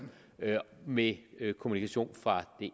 med kommunikation fra